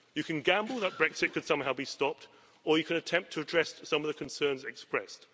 you can gamble that Brexit could somehow be stopped, or you can attempt to address some of the concerns expressed.